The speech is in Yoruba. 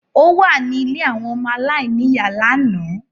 Ó wà ní ilé àwọn ọmọ aláìníìyá lánàá.